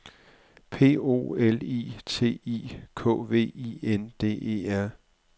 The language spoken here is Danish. P O L I T I K V I N D E R